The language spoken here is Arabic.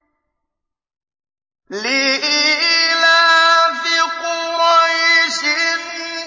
لِإِيلَافِ قُرَيْشٍ